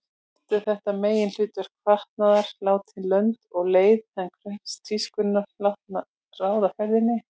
Oft er þetta meginhlutverk fatnaðar látið lönd og leið en kröfur tískunnar látnar ráða ferðinni.